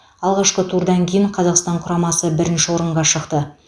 алғашқы турдан кейін қазақстан құрамасы бірінші орынға шықты